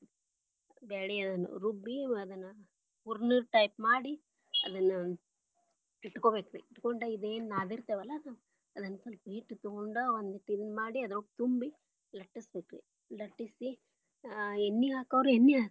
ಬ್ಯಾಳಿ ಅದನ್ನ ರುಬ್ಬಿ ಅದನ್ನ ಹೂರಣದ type ಮಾಡಿ ಅದನ್ನ ಇಟ್ಕೊಬೇಕರಿ ಇಟ್ಕೊಂಡ ಇದೇನ ನಾದಿರತೆವಲ್ಲ ನಾವ ಅದನ್ನ ಸ್ವಲ್ಪ ಹಿಟ್ಟ ತೊಗೊಂಡ ವಂದಿಟ್ ಇದನ್ನ ಮಾಡಿ ಅದ್ರೊಳಗ ತುಂಬಿ ಲಟ್ಟಸಬೇಕರಿ ಲಟ್ಟಿಸಿ ಎಣ್ಣಿ ಹಾಕೋರ ಎಣ್ಣಿ.